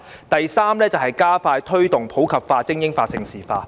第三，加快推動普及化、精英化及盛事化。